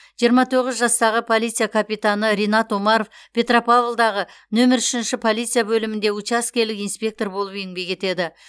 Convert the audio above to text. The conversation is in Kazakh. жиырма тоғыз жастағы полиция капитаны ринат омаров петропавлдағы нөмір үшінші полиция бөлімінде учаскелік инспектор болып еңбек етеді